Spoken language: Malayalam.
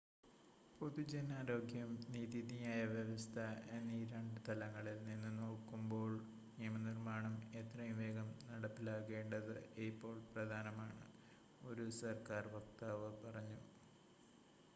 """പൊതുജനാരോഗ്യം നീതിന്യായ വ്യവസ്ഥ എന്നീ രണ്ട് തലങ്ങളിൽ നിന്ന് നോക്കുമ്പോൾ നിയമനിർമ്മാണം എത്രയും വേഗം നടപ്പിലാക്കേണ്ടത് ഇപ്പോൾ പ്രധാനമാണ്" ഒരു സർക്കാർ വക്താവ് പറഞ്ഞു.